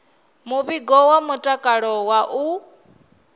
muvhigo wa mutakalo wa u